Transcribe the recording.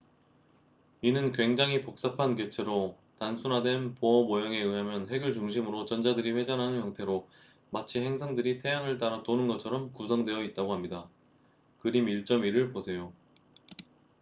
이는 굉장히 복잡한 객체로 단순화된 보어 모형에 의하면 핵을 중심으로 전자들이 회전하는 형태로 마치 행성들이 태양을 따라 도는 것처럼 구성되어 있다고 합니다 그림 1.1을 보세요